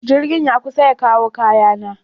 Jirgin ya kusa ya kawo kayana.